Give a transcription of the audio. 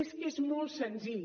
és que és molt senzill